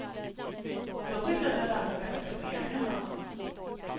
Jag tyckte att jag lärde mig bättre på egen hand.